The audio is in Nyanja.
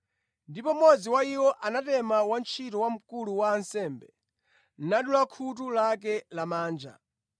Ndipo mmodzi wa iwo anatema wantchito wamkulu wa ansembe, nadula khutu lake lamanja.